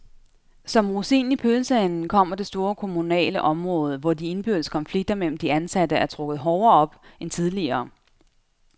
Som rosinen i pølseenden kommer det store kommunale område, hvor de indbyrdes konflikter mellem de ansatte er trukket hårdere op end tidligere.